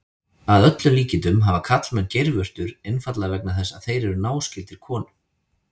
Að öllum líkindum hafa karlmenn geirvörtur einfaldlega vegna þess að þeir eru náskyldir konum.